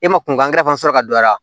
E ma kunkankɛrɛfan sɔrɔ ka don a la